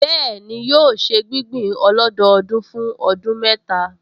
Bẹ́ẹ̀ni, yóò ṣe gbígbìn ọlọ́dọọdún fún ọdún mẹ́ta